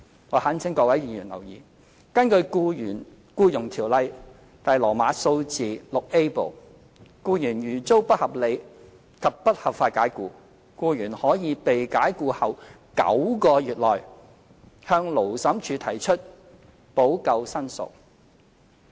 我懇請各位議員留意，根據《僱傭條例》第 VIA 部，僱員如遭不合理及不合法解僱，僱員可於被解僱後9個月內向勞審處提出補救申索。